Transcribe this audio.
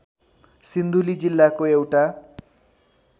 सिन्धुली जिल्लाको एउटा